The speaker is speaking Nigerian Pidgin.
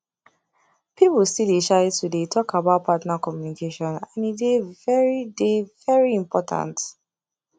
people still dey shy to dey talk about partner communication and e dey very dey very important